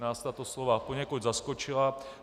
Nás tato slova poněkud zaskočila.